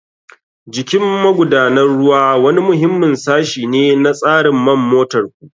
Jikin magudanar ruwa wani muhimmin sashi ne na tsarin man motar ku.